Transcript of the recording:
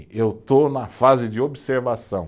Eu estou na fase de observação.